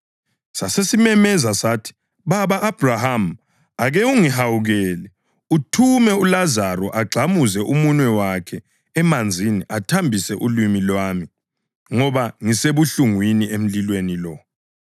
Sasesimemeza sathi, ‘Baba Abhrahama, ake ungihawukele uthume uLazaro agxamuze umunwe wakhe emanzini athambise ulimi lwami, ngoba ngisebuhlungwini emlilweni lo.’